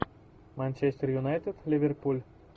манчестер юнайтед ливерпуль